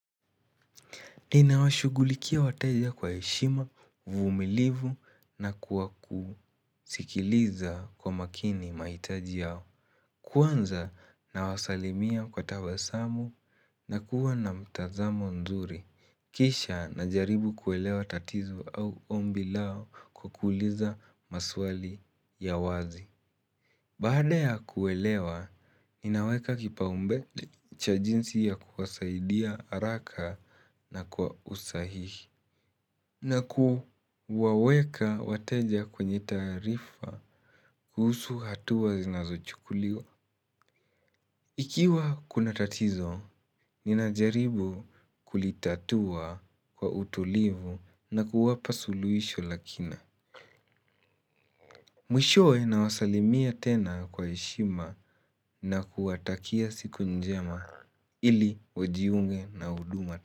Ninawashughulikia wateja kwa heshima, uvumilivu na kwa kusikiliza kwa makini mahitaji yao. Kwanza nawasalimia kwa tabasamu, nakuwa na mtazamo nzuri. Kisha najaribu kuelewa tatizo au ombi lao kukuliza maswali ya wazi. Baada ya kuelewa, ninaweka kipaumbele cha jinsi ya kuwasaidia haraka na kwa usahihi. Na kuwaweka wateja kwenye taarifa kuhusu hatuwa zinazochukuliwa. Ikiwa kuna tatizo, ninajaribu kulitatua kwa utulivu na kuwapa suluhisho la kina. Mwishowe nawasalimia tena kwa heshima na kuwatakia siku njema. Ili wajiunge na huduma.